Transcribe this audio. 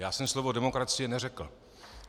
Já jsem slovo demokracie neřekl.